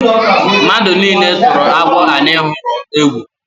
Mmadụ nile turu agwọ anyị hụrụ egwu.